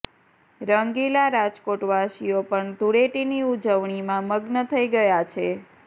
રંગીલા રાજકોટવાસીઓ પણ ધૂળેટીની ઉજવણીમાં મગ્ન થઈ ગયા છે